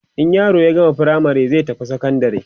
in yaro ya gama firamare zai tafi sekondari